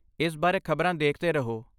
ਇਸ ਬਾਰੇ ਖ਼ਬਰਾਂ ਦੇਖਦੇ ਰਹੋ